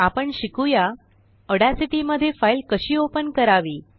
आपण शिकूया ऑड्यासिटीमध्ये फाईल कशी ओपन करावी